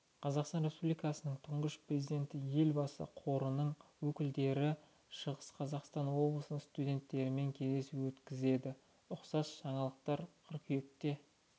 қазақстан республикасының тұңғыш президенті елбасы қорының өкілдері шығыс қазақстан облысының студенттерімен кездесу өткізеді ұқсас жаңалықтар қыркүйекте